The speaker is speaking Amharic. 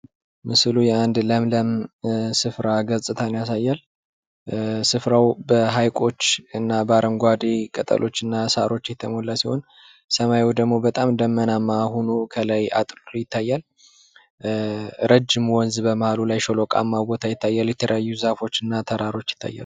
ይህ በምስሉ ላይ የምናየው አጅግ የሚያምር አረንጓዴ የሆነ የተፈጥሮ አካባቢ ነው። አናንተ አንደዚህ ኣይነት ቦታ ኣይታችሑ ታቃላችሕ?